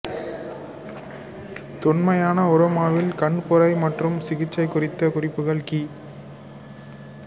தொன்மையான உரோமாவில் கண்புரை மற்றும் சிகிட்சை குறித்த குறிப்புகள் கி